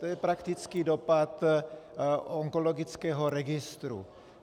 To je praktický dopad onkologického registru.